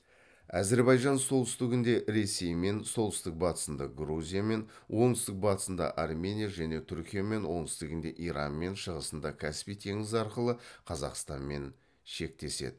әзербайжан солтүстігінде ресеймен солтүстік батысында грузиямен оңтүстік батысында армения және түркиямен оңтүстігінде иранмен шығысында каспий теңізі арқылы қазақстанмен шектеседі